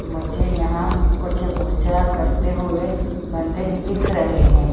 मुझे यहां कुछ पूजा करते हुए बंदे दिख रहे हैं।